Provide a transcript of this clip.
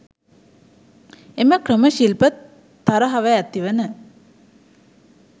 එම ක්‍රම ශිල්ප තරහව ඇති වන